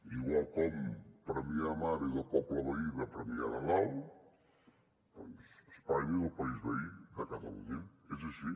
igual com premià de mar és el poble veí de premià de dalt doncs espanya és el país veí de catalunya és així